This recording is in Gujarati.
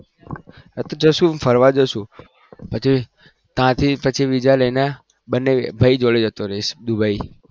ફરવા જઈશું પછી હાથે થી વીજા લઈને ભાઈ જોડે જતો રહીશ દુબઈ